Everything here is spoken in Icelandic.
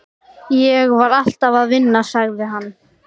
Ég var alltaf að vinna, sagði hann.